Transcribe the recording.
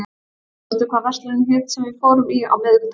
Hans, manstu hvað verslunin hét sem við fórum í á miðvikudaginn?